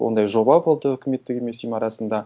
ондай жоба болды өкіметтік емес ұйым арасында